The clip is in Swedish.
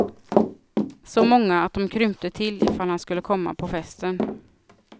Så många att de krympte till ifall han skulle komma på festen.